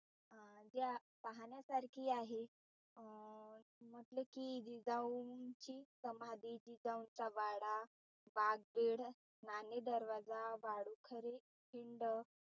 पाहण्यासारखी आहे अं म्हटलं कि जिजाऊंची समाधी, जिजाऊंचा वाडा, , नाणे दरवाजा, वाडूखरे पिंड